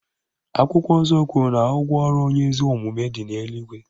Akwụkwọ nsọ kwuru na ụgwọ ọrụ onye ezi omume dị n'eluigwe